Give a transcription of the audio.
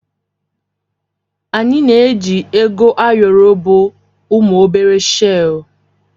Anyị na-eji Ego ayoro bụ ụmụ obere shel.